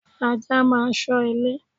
Ajá máa ń ṣọ́ ilé.